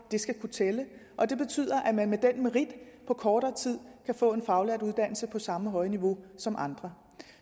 det skal kunne tælle og det betyder at man med den merit på kortere tid kan få en faglært uddannelse på samme høje niveau som andre